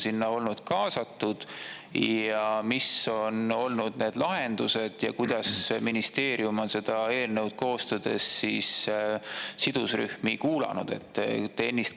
Kes on olnud sinna kaasatud, missuguseid lahendusi on pakutud ja on ministeerium seda eelnõu koostades sidusrühmi kuulanud?